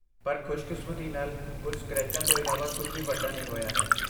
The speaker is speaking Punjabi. ਪਰ ਖੁਸ਼ਕਿਸਮਤੀ ਨਾਲ, ਕੁਝ ਸਕ੍ਰੈਚਾਂ ਤੋਂ ਇਲਾਵਾ ਕੁਝ ਵੀ ਵੱਡਾ ਨਹੀਂ ਹੋਇਆ ਹੈ।